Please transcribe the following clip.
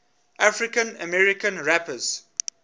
african american rappers